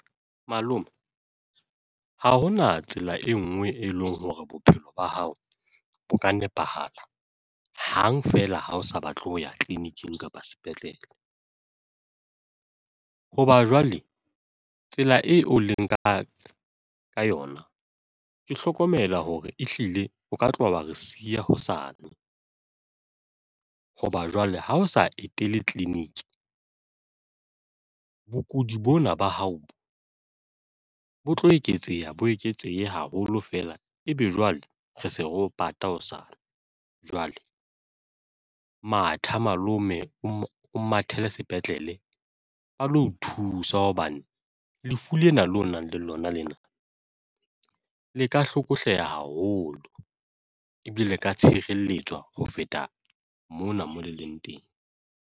Malome ha hona tsela e ngwe e leng hore bophelo ba hao bo ka nepahala hang feela ha o sa batle ho ya tleliniking kapa sepetlele. Hoba jwale tsela eo o leng ka yona, ke hlokomela hore ehlile o ka tloha wa re siya hosane hoba jwale ha o sa etele clinic. Bokudi bona ba hao bo tlo eketseha bo eketsehe haholo feela ebe jwale re se re o pata hosane. Jwale matha malome o mathele sepetlele balo o thusa hobane lefu lena o nang le lona lena le ka hlokohleha haholo ebile le ka tshireletswa ho feta mona mo le leng teng.